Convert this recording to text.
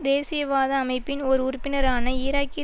தேசியவாத அமைப்பின் ஓர் உறுப்பினரான ஈராக்கிய